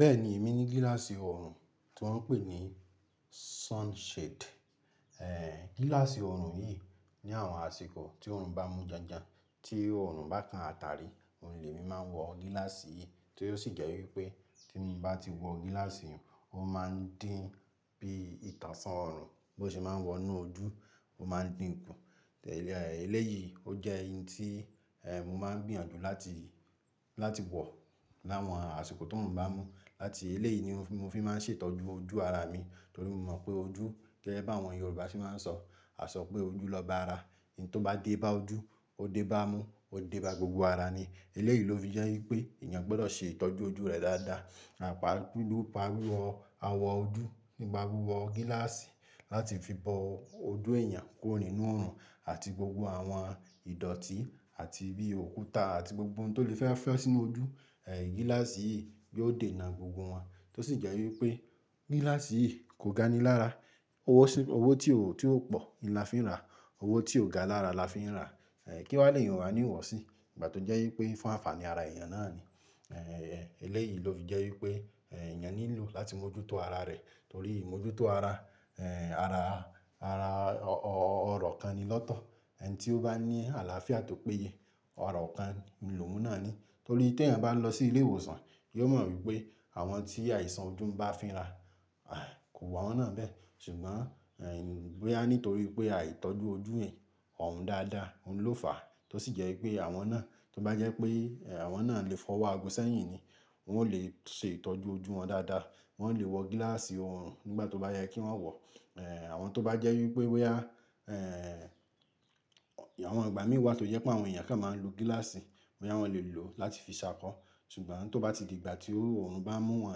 Bẹ́ẹ̀ni, èmi ní gíláàsì ọrùn tí wọ́n ń pè ní sunshade. Eh, gíláàsì ọrùn yìí ní àwọn àsìkò tí ọrùn bá mú janjan, tí ọrùn bá kan ata rí, ohun lé'mi máa ń wọ gíláàsì yìí tí ó sì jẹ́ wípé tí mo bá ti wọ gíláàsì yìí, ó máa ń dín bí ìtànṣán ọrùn, bó ṣe máa ń wọnú ojú, ó máa ń dín kú. Eh, eléyìí ó jẹ́ oun tí, eh, mo máa ń gbìyànjú láti, láti wọ̀ láwọn àsìkò ti ooruń bá n mú. Láti eléyìí ni mo fi máa ń ṣètọ́jú ojú ara mi nitorí mo mọ̀ pé ojú, gẹ́gẹ́ bí àwọn Yorùbá ṣe máa ń sọ, won asọpé ojú lọba ara. Eyi tóbá dé bá ojú, ó dé bá imú, ó dé bá gbogbo ara ni. Eléyìí ló fi jẹ́ wípé èèyàn gbọ́dọ̀ ṣe ìtọ́jú ojú rẹ dáradára, pàápàá nipa wíwọ àwọ̀ ojú nípa wíwọ gíláàsì láti fi bo ojú èèyàn kúrò nínú ọrùn àti gbogbo àwọn ìdọ̀tí àti bí òkúta àti gbogbo ohun tó lè fẹ́ fẹ́ sínú ojú, eh, gíláàsì yìí yóò dènà gbogbo wọn. Tó sì jẹ́ wípé gíláàsì yìí kò ga ni lára, owó tí ó, tí ó pọ̀ ni a fi ń ra, owó tí ó gani lára la fi ń rà, eh, kí wa lè eniyan owaní wọ̀osí nígbà tó jẹ́ wípé fún ànfàní ara èèyàn náà ni. Eh, eléyìí ló fi jẹ́ wípé, eh, èèyàn nílò láti mójútó ara rẹ̀ torí imojútó ara, eh, ara, ara, ọ̀rọ̀ kan ni lọ́tọ̀. Ẹni tí ó bá ní àlàáfíà tò péye, ọ̀rọ̀ kan lòún náà ni. Torí tí èèyàn bá n lọ sí ilé ìwòsàn, yóò mọ̀ wípé àwọn tí àìsàn ojú ń bá fínra, ai, kò wun awọ́n náà bẹ́ẹ̀. Ṣùgbọ́n, eh, bóyá nítorí pé àìtọ́jú ojú yẹ̀n òún dáradára, òun ló fàá. Tó sì jẹ́ wípé àwọn náà, tó bá jẹ́ pé, eh, àwọn náà lè fa owọ́ aago sẹ́yìn ni, wọn ò lè ṣe ìtọ́jú ojú wọn dáradára, wọn ò lè wọ gíláàsì ọorùn nígbà tó bá yẹ kí wọ́n wọ. Eh, àwọn tó bá jẹ́ wípé bóyá, eh, àwọn ìgbà míran wá tó jẹ́ pé àwọn èèyàn kan máa ń lo gíláàsì, bóyá wọ́n lè lò ó láti fi ṣákọ. Ṣùgbọ́n tó bá ti di ìgbà tí ó ọrùn bá n mú wọ́n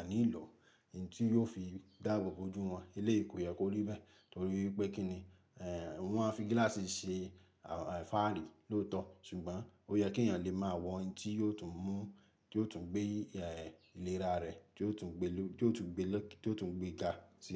o ní lo o, eyi tí yóò fi dáà abò-bo ojú wọn. Eleyi kó yẹ kó rí bẹ́ẹ̀ torí wípé kín ni, eh, wọn máa fi gíláàsì ṣe, àn, fààrí lóòótọ́. Ṣùgbọ́n ó yẹ kí èèyàn lè máa wọ oun tí yóò tún mú, tí yóò tún gbé, eh, ìlera rẹ̀, tí yóò tún gbé ló, tí yóò tún gbé lọ́, tí yóò tún gbé ga sí i.